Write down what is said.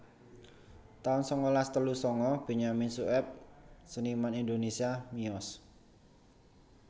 taun sangalas telu sanga Benyamin Sueb seniman Indonésia miyos